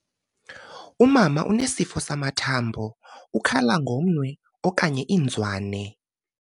Umama unesifo samathambo, ukhala ngomnwe okanye ngozwane.